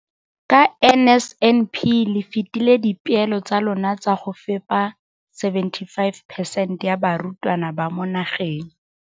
ka NSNP le fetile dipeelo tsa lona tsa go fepa 75 percent ya barutwana ba mo nageng.